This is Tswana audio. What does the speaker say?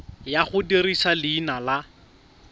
ya go dirisa leina la